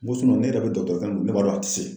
Ko ne yɛrɛ bɛ min ne b'a dɔn a ti se.